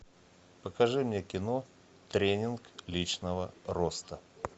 покажи мне кино тренинг личного роста